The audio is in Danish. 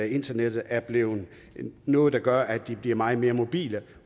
internettet er blevet noget der gør at de bliver meget mere mobile